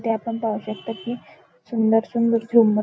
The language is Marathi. इथे आपण पाहू शकतो कि सुंदर सुंदर झुम्मर--